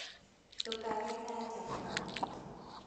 ndũkage kanya kau